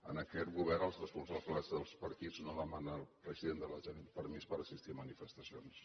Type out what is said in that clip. en aquest govern els responsables dels partits no demanen al president de la generalitat permís per assistir a manifestacions